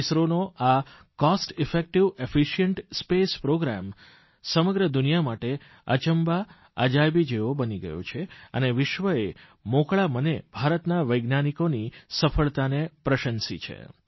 ઇસરોનો આ cost effective efficient space programme સમગ્ર દુનિયા માટે અચંબા અજાયબી જેવો બની ગયો છે અને વિશ્વએ મોકળા મને ભારતના વૈજ્ઞાનિકોની સફળતાને પ્રશંસી છે